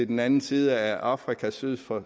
den anden side af afrika syd for